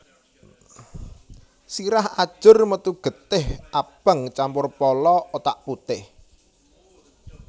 Sirah ajur metu getih abang campur polo otak putih